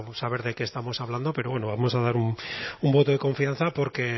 pues saber de qué estamos hablando pero bueno vamos a dar un voto de confianza porque